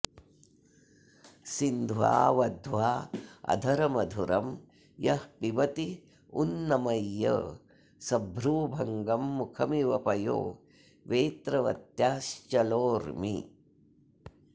सिन्ध्वा वध्वा अधरमधुरं यः पिबत्युन्नमय्य सभ्रूभङ्गं मुखमिव पयो वेत्रवत्याश्चलोर्मि